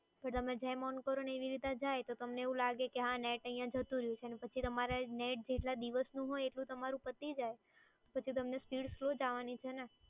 તમે જેમ on કરો એ data જાય તમને એવું લાગે કે net અહીય જતું રહ્યું છે પછી તમારે net જેટલા દિવસ નું હોય એ તમારું પતિ જાય પછી speed તો તમારી slow જ આવાની છે ને.